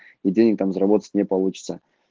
и денег там заработать не получится